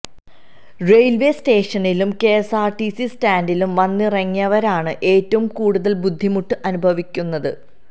railway സ്റ്റേഷനിലും KSRTC സ്റ്റാന്റിലും വന്നിറങ്ങിയവരാണ് ഏറ്റവും കൂടുതല് ബുദ്ധിമുട്ട് അനുഭവിക്കുന്നത്